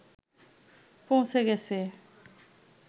পৌঁছে গেছে